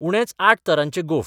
उणेच आठ तरांचे गोफ.